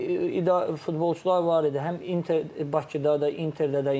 Yəni futbolçular var idi, həm İnter Bakıda da, İnterdə də.